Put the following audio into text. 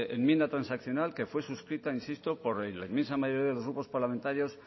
enmienda transaccional que fue suscrita insisto por la inmensa mayoría de grupos parlamentarios